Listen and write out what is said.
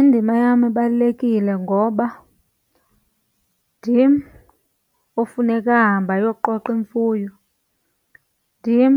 Indima yam ibalulekile ngoba ndim ofuneka ahambe ayoqoqa imfuyo, ndim